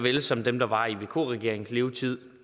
vel som dem der var i vk regeringens levetid